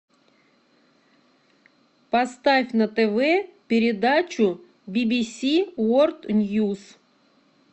поставь на тв передачу би би си ворлд ньюс